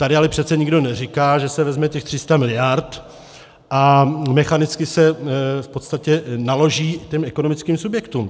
Tady ale přece nikdo neříká, že se vezme těch 300 mld. a mechanicky se v podstatě naloží těm ekonomickým subjektům.